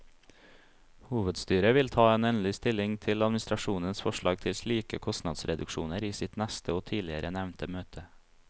Hovedstyret vil ta endelig stilling til administrasjonens forslag til slike kostnadsreduksjoner i sitt neste og tidligere nevnte møte.